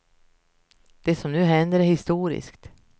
Det som nu händer är historiskt.